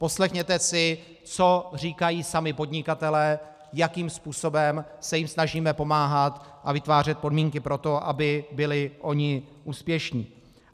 Poslechněte si, co říkají sami podnikatelé, jakým způsobem se jim snažíme pomáhat a vytvářet podmínky pro to, aby byli oni úspěšní.